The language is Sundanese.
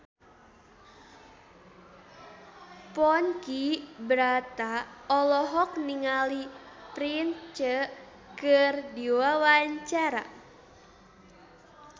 Ponky Brata olohok ningali Prince keur diwawancara